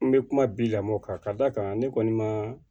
N bɛ kuma bi lamɔ kan ka d'a kan ne kɔni ma